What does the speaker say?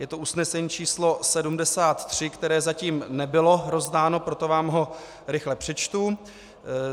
Je to usnesení číslo 73, které zatím nebylo rozdáno, proto vám ho rychle přečtu.